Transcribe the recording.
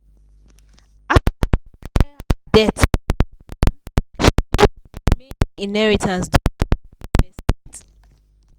after she clear her debt finish um she use the remaining inheritance do better investment.